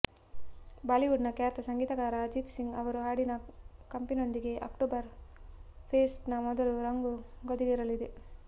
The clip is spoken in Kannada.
ಬಾಲಿವುಡ್ನ ಖ್ಯಾತ ಸಂಗೀತಗಾರ ಅಜಿತ್ ಸಿಂಗ್ ಅವರ ಹಾಡಿನ ಕಂಪಿನೊಂದಿಗೆ ಅಕ್ಟೋಬರ್ ಫೆಸ್ಟ್ನ ಮೊದಲ ರಂಗು ಗರಿಗೆದರಲಿದೆ